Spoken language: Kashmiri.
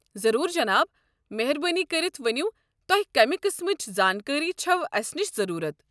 ضروٗر، جناب! مہربٲنۍ کٔرِتھ ؤنِو تۄہہِ کمہِ قسمٕچ زانٛکٲرِی چھوٕ اسہِ نِش ضروٗرت۔